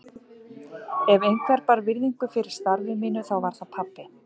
Ef einhver bar virðingu fyrir starfi mínu þá var það pabbi.